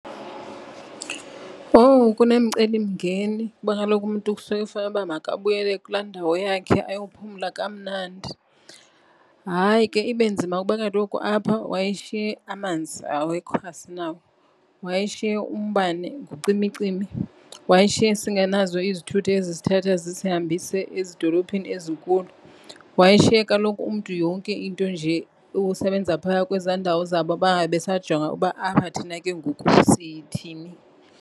Owu, kunemicelimngeni kuba kaloku umntu kusuke kufanele uba makabuyele kulaa ndawo yakhe ayophumla kamnandi. Hayi, ke ibe nzima kuba kaloku apha wayeshiye amanzi awekho, asinawo. Wayeshiye umbane ucimicimi, wayeshiye singenazo izithuthi ezisithatha zisihambise ezidolophini ezinkulu, wayeshaye kaloku umntu yonke into nje ikusebenza phaya kwezaa ndawo zabo bangabisajonga ukuba apha thina ke ngoku sithini.